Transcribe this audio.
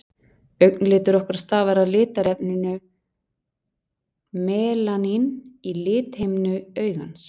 augnlitur okkar stafar af litarefninu melaníni í lithimnu augans